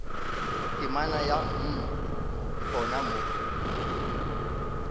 temana ya mm gona mo